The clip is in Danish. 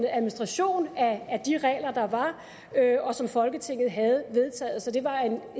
administration af de regler der var og som folketinget havde vedtaget så det var en